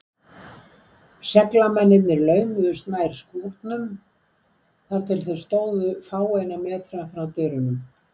Seglamennirnir laumuðust nær skúrnum, þar til þeir stóðu fáeina metra frá dyrunum.